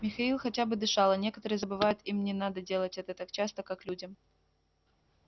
михаил хотя бы дышал а некоторые забывают им не надо делать это так часто как людям